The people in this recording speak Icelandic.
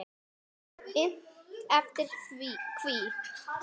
Innt eftir: Hví?